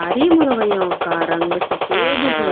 सारी मुर्गियों का रंग सफेद है।